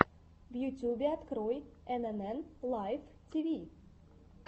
в ютюбе открой энэнэн лайф тиви